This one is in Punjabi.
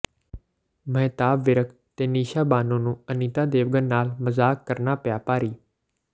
ਮਹਿਤਾਬ ਵਿਰਕ ਤੇ ਨਿਸ਼ਾ ਬਾਨੋ ਨੂੰ ਅਨੀਤਾ ਦੇਵਗਨ ਨਾਲ ਮਜ਼ਾਕ ਕਰਨਾ ਪਿਆ ਭਾਰੀ